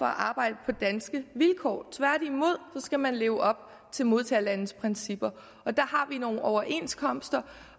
arbejde på danske vilkår tværtimod skal man leve op til modtagerlandets principper og der har vi nogle overenskomster